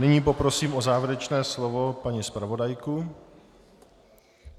Nyní poprosím o závěrečné slovo paní zpravodajku.